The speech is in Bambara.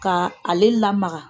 Ka ale lamaga